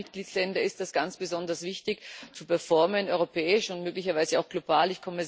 Für kleine Mitgliedsländer ist es ganz besonders wichtig zu performen europäisch und möglicherweise auch global.